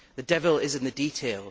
The devil is in the detail.